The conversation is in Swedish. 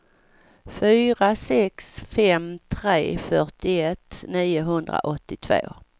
fyra sex fem tre fyrtioett niohundraåttiotvå